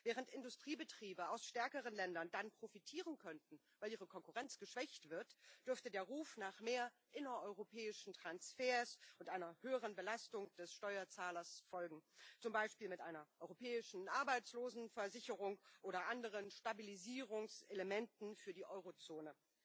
Während Industriebetriebe aus stärkeren Ländern dann profitieren könnten, weil ihre Konkurrenz geschwächt wird, dürfte der Ruf nach mehr innereuropäischen Transfers und einer höheren Belastung des Steuerzahlers folgen, zum Beispiel mit einer europäischen Arbeitslosenversicherung oder anderen Stabilisierungselementen für die Eurozone.